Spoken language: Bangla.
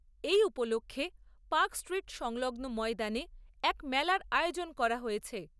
এই উপলক্ষে পার্কস্ট্রীট সংলগ্ন ময়দানে এক মেলার আয়োজন করা হয়েছে।